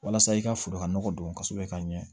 Walasa i ka foro ka nɔgɔ don kosɛbɛ ka ɲɛ